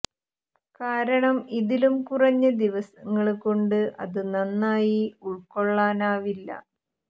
കാരണം ഇതിലും കുറഞ്ഞ ദിവങ്ങള് കൊണ്ട് അത് നന്നായി ഉള്ക്കൊള്ളാനാവില്ല